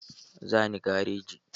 Za ni gareji.